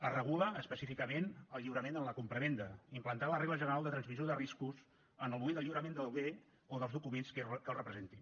es regula específicament el lliurament en la compravenda implantant la regla general de transmissió de riscos en el moment del lliurament del bé o dels documents que el representin